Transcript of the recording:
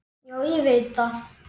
Já, ég veit það!